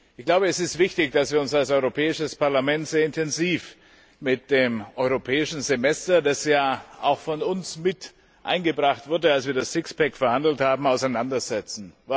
Ich glaube, es ist wichtig, dass wir uns als Europäisches Parlament sehr intensiv mit dem Europäischen Semester das ja auch von uns mit eingebracht wurde, als wir das Six Pack verhandelt haben auseinandersetzen.